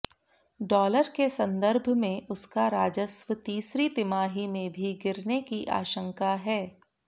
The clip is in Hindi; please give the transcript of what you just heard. डॉलर के संदर्भ में उसका राजस्व तीसरी तिमाही में भी गिरने की आशंका है